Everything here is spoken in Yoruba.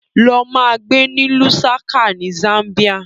Lọ ma gbé ní Lusaca ni Zambia!